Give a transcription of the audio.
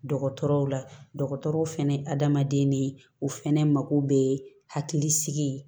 Dɔgɔtɔrɔw la dɔgɔtɔrɔw fɛnɛ ye adamaden ne ye o fɛnɛ mako bɛ hakili sigi ye